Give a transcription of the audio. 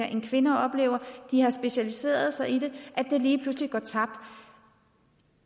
end kvinder oplever og som de har specialiseret sig i lige pludselig går tabt